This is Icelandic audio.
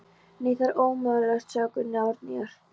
Nei, það er ómögulegt, sagði Gunni Árnýjar.